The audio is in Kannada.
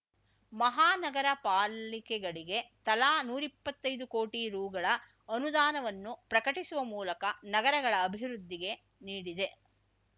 ಮಹಾನಗರ ಪಾಲಿಕೆಗಳಗೆ ತಲಾ ನೂರಿಪ್ಪತ್ತೈದು ಕೋಟಿ ರೂಗಳ ಅನುದಾನವನ್ನು ಪ್ರಕಟಿಸುವ ಮೂಲಕ ನಗರಗಳ ಅಭಿವೃದ್ಧಿಗೆ ನೀಡಿದೆ